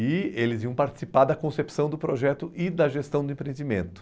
E eles iam participar da concepção do projeto e da gestão do empreendimento.